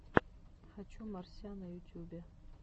хочу морся на ютюбе